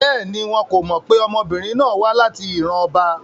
Bẹ́ẹ̀ni, wọn ko mọ pe ọmọbirin náà wa lati iran ọba